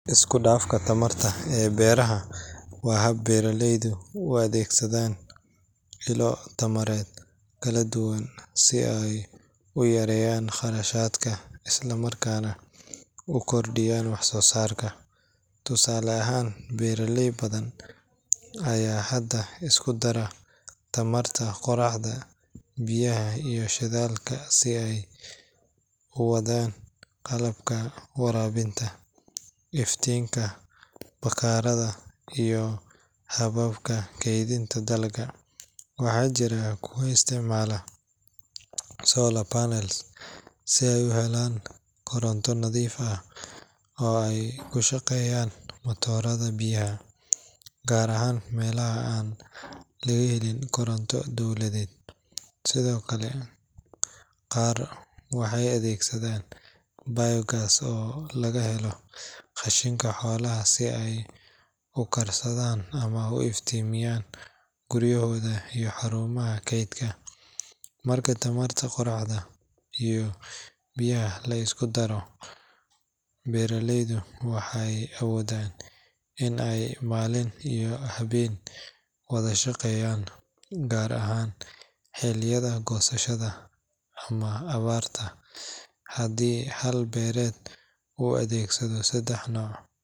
Isku dhafka tamarta ee beeraha waa hab beeraleyda u adeegsadaan ilo tamareed kala duwan si ay u yareeyaan kharashaadka isla markaana u kordhiyaan wax-soo-saarka. Tusaale ahaan, beeraley badan ayaa hadda isku dara tamarta qoraxda, biyaha iyo shidaalka si ay u wadaan qalabka waraabinta, iftiinka bakhaarrada, iyo hababka keydinta dalagga. Waxaa jira kuwa isticmaala solar panels si ay u helaan koronto nadiif ah oo ay ku shaqeeyaan matoorada biyaha, gaar ahaan meelaha aan laga helin koronto dowladeed. Sidoo kale, qaar waxay adeegsadaan biogas oo laga helo qashinka xoolaha si ay u karsadaan ama u iftiimiyaan guryahooda iyo xarumaha kaydka. Marka tamarta qoraxda iyo biyaha la isku daro, beeraleyda waxay awoodaan in ay maalin iyo habeenba wadaan shaqada, gaar ahaan xilliyada goosashada ama abaarta. Haddii hal beereed uu adeegsado saddex nooc.